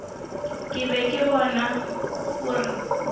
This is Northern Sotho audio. ke be ke bona gore